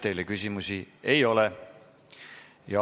Teile küsimusi ei ole.